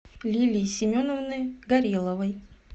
лилии семеновны гореловой